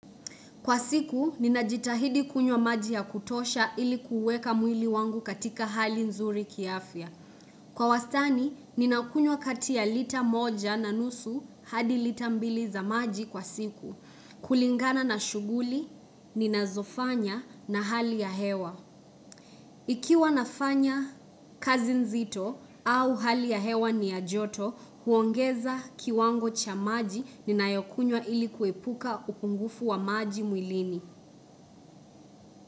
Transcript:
Kwa siku, ninajitahidi kunywa maji ya kutosha ilikuuweka mwili wangu katika hali nzuri kiafya. Kwa wastani, ninakunywa kati ya lita moja na nusu hadi lita mbili za maji kwa siku. Kulingana na shuguli, ninazofanya na hali ya hewa. Ikiwa nafanya kazi nzito au hali ya hewa ni ya joto, huongeza kiwango cha maji ninayokunywa ilikuepuka ukungufu wa maji mwilini.